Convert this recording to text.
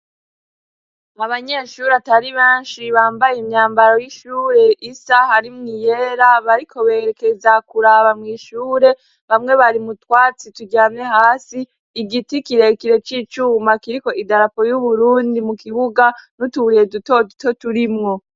Mabanyeshuri atari banshi bambaye imyambaro y'ishure isa harimwo iyera bariko berekeza kuraba mw'ishure bamwe bari mutwatsi turyane hasi igiti kirekire k'icuma kiriko idarapo y'uburundi mu kibuga n'utubrire dutoduto turimwo.